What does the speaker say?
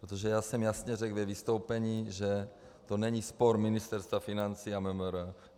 Protože já jsem jasně řekl ve vystoupení, že to není spor Ministerstva financí a MMR.